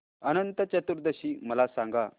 अनंत चतुर्दशी मला सांगा